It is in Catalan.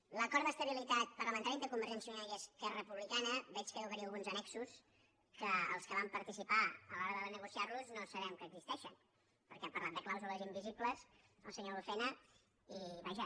a l’acord d’estabilitat parlamentària entre convergència i unió i esquerra republicana veig que deu haver hi alguns annexos que els que vam participar a l’hora de negociar los no sabem que existeixen perquè ha parlat de clàusules invisibles el senyor lucena i vaja